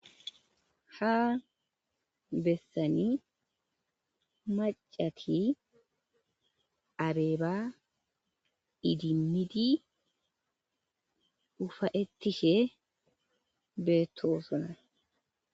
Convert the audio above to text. Ha bessani macati areeba idimidi ufa'ettishe beetto sona